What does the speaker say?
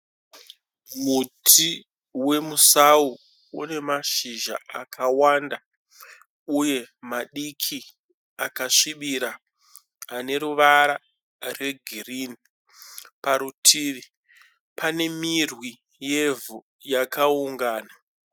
Muti wemusau une mashizha akawanda uye madiki akasvibira ane ruwara rwe girini. Parutivi pane mirwi yevhu yakaungana.